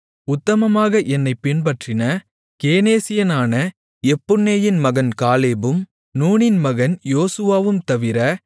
உத்தமமாக என்னைப் பின்பற்றின கேனேசியனான எப்புன்னேயின் மகன் காலேபும் நூனின் மகன் யோசுவாவும் தவிர